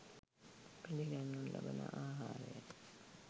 පිළිගන්වනු ලබන ආහාරයයි.